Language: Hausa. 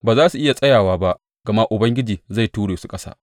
Ba za su iya tsayawa ba, gama Ubangiji zai ture su ƙasa.